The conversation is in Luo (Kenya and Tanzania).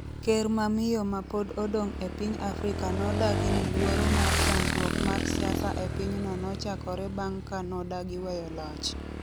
ker ma miyo ma pod odong' e piny Afrika nodagi ni Luoro mar chandruok mar siasa e pinyno nochakore bang' ka nodagi weyo loch.